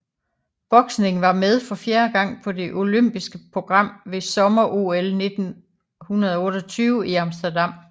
Boksning var med for fjerde gang på det olympiske program ved Sommer OL 1928 i Amsterdam